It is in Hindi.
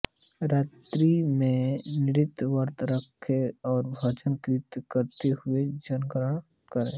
रात्रि में भी निर्जल व्रत रखें और भजन कीर्तन करते हुए जागरण करें